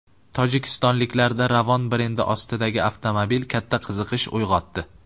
Tojikistonliklarda Ravon brendi ostidagi avtomobil katta qiziqish uyg‘otdi.